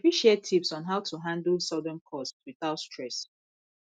we fit share tips on how to handle sudden costs without stress